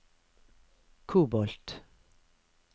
kobolt